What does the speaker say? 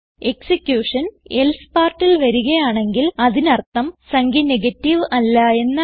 execution else partൽ വരുകയാണെങ്കിൽ അതിനർത്ഥം സംഖ്യ നെഗറ്റീവ് അല്ല എന്നാണ്